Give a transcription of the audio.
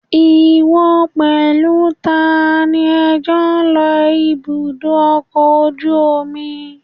Ìwọ pẹ̀lú tani ẹ jọ lọ ibùdó ọkọ̀ ojú omi?